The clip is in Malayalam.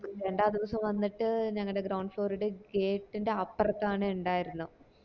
രണ്ടാം ദിവസം വന്നിട്ട് ഞങ്ങടെ ground floor ടെ gate ൻറെ അപ്പാർത്തതാണ് ഇണ്ടായിരുന്നു